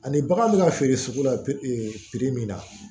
Ani bagan bɛ ka feere sugu la perepere min na